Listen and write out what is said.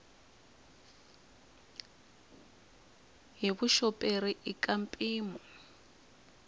hi vuxoperi i ka mpimo